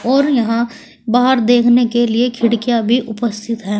और यहां बाहर देखने के लिए खिड़कियां भी उपस्थित हैं।